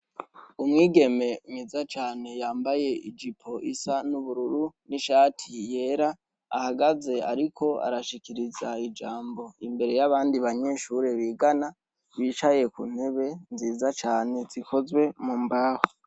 Umwigeme mwiza cane ymbaye ijipo isa n'ubururu n'ishati yera ahagaze ariko arashikiriza ijambo imbere y'abandi banyeshuri bigana bicaye ku ntebe nziza cane zikozwe mu mbaho.